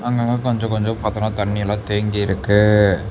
அங்க அங்க கொஞ்சம் கொஞ்சம் பாத்தீங்கனா தண்ணி எல்லாம் தேங்கி இருக்கு.